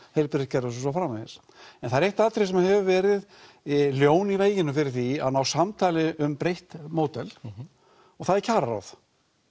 heilbrigðiskerfis og svo framvegis en það er eitt atriði sem hefur verið ljón í veginum fyrir því að ná samtali um breytt módel og það er kjararáð